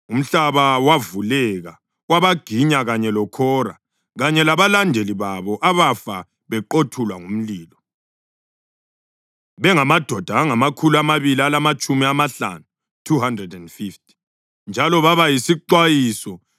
Umhlaba wavuleka wabaginya kanye loKhora, kanye labalandeli babo abafa beqothulwa ngumlilo bengamadoda angamakhulu amabili alamatshumi amahlanu (250). Njalo baba yisixwayiso.